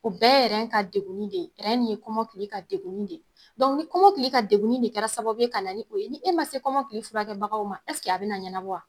O bɛɛ ye ka degunni de ye ni kɔmɔkili ka degunni de kɛra sababu ye ka na ni o ye ni e ma se kɔmɔkili furakɛbagaw ma a bɛ na ɲɛna bɔ wa?